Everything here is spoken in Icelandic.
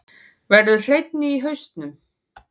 Verður hreinni í hausnum.